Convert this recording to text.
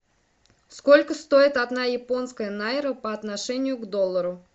сколько стоит одна японская найра по отношению к доллару